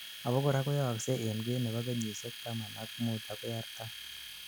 abakora koyaoksei enkwen nebo kenyisiek taman ak muut agoi artam